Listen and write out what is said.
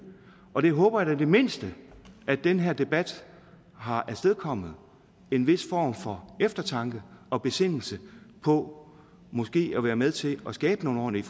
og jeg håber da i det mindste at den her debat har afstedkommet en vis form for eftertanke og besindelse på måske at være med til at skabe nogle ordentlige